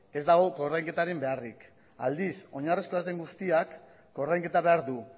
ez dago ordainketarik egin beharrik aldiz oinarrizkoa ez den guztiak ordainketa behar du